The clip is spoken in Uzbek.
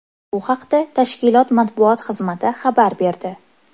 Bu haqda tashkilot matbuot xizmati xabar berdi .